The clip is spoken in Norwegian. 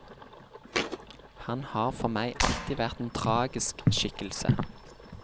Han har for meg alltid vært en tragisk skikkelse.